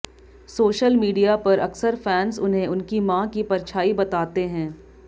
social media पर अक्सर fans उन्हें उनकी मां की परछाई बताते हैं